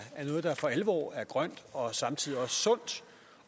noget der for alvor er grønt og samtidig også sundt